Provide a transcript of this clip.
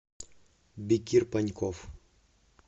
бекир паньков